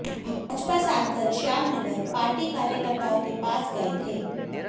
भाजपा सांसद श्यामनगर पार्टी कार्यकर्ताओं के पास गए थे